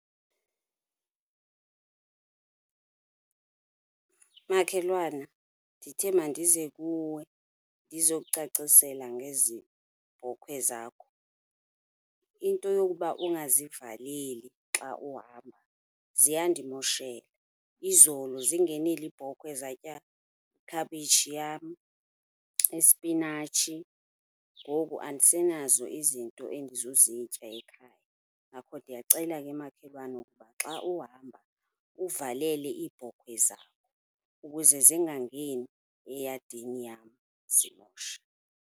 Makhelwana, ndithe mandize kuwe ndizokucacisela ngezi bhokhwe zakho. Into yokuba ungazivaleli xa uhamba ziyandimoshela. Izolo zingenile iibhokhwe zatya khabishi yam, ispinatshi, ngoku andisenazo izinto endizozitya ekhaya. Ngakho ndiyacela ke makhelwana ukuba xa uhamba, uvalele iibhokhwe zakho ukuze zingangeni eyadini yam zimoshe.